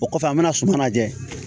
O kɔfɛ an bɛna suman lajɛ